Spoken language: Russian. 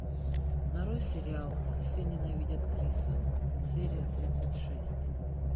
нарой сериал все ненавидят криса серия тридцать шесть